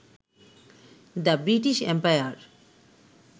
the British empire